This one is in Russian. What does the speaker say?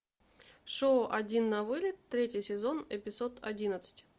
шоу один на вылет третий сезон эпизод одиннадцать